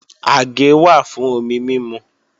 Àgé wà fún omi mímu